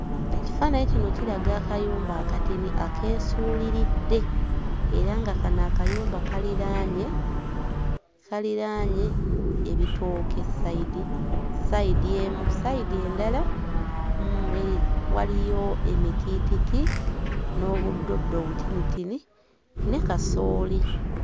Ekifaananyi kino kiraga akayumba akatini akeesuuliridde era nga kano akayumba kaliraanye kaliraanye ebitooke ssayidi, ssayidi emu, ssayidi endala mm waliyo emitiititi n'obuddoddo obutinitini ne kasooli.